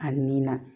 A nin na